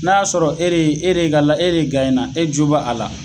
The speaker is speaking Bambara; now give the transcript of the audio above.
N'a y'a sɔrɔ e re e re e re ka e de na, e jo b'a a la.